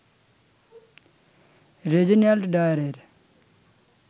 Reginald ডায়ারের